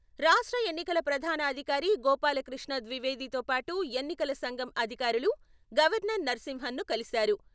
రాష్ట్ర ఎన్నికల ప్రధాన అధికారి గోపాలకృష్ణ ద్వివేదితో పాటు ఎన్నికల సంఘం అధికారులు గవర్నర్ నరసింహనన్‌ను కలిశారు.